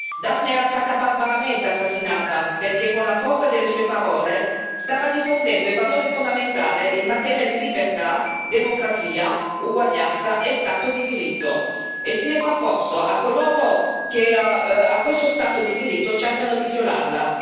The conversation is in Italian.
Dafne è stata barbaramente assassinata perché, con la forza delle sue parole, stava difendendo i valori fondamentali in materia di libertà, democrazia, uguaglianza e Stato di diritto, e si è frapposta a coloro che questo Stato di diritto cercano di violarlo.